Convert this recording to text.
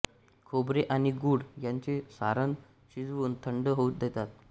खोबरे आणि गूळ यांचे सारण शिजवून थंड होऊ देतात